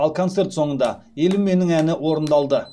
ал концерт соңында елім менің әні орындалды